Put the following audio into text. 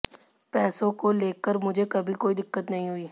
पैसों को लेकर मुझे कभी कोई दिक्कत नहीं हुई